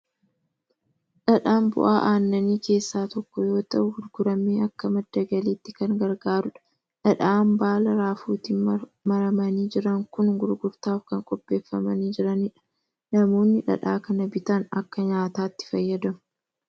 Dhadhaan bu'aa aannanii keessaa tokko yoo ta'u, gurguramee akka madda galiitti kan gargaarudha. Dhadhaan baala raafuutti maramanii jiran kun gurgurtaaf kan qopheeffamanii jirani dha. Namoonni dhadhaa kana bitan akka nyaataatti fayyadamu.